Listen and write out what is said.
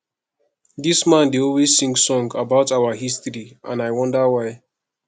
dis man dey always sing song about our history and i wonder why